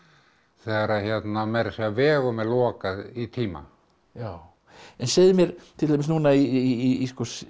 þegar meira að segja vegum er lokað í tíma en segðu mér til dæmis núna í